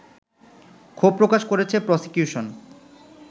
ক্ষোভ প্রকাশ করেছে প্রসিকিউশন